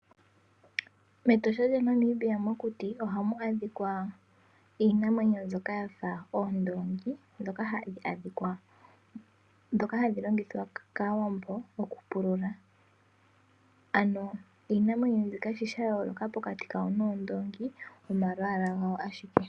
MEtosha lyaNamibia mokuti ohamu adhikwa iinamwenyo mbyoka yafa oondoongi dhoka hadhilongithwa kaawambo okupulula, ano iinamwenyo mbika shi shayooloka pokati kawo noondoongi omalwaala gawo ashike.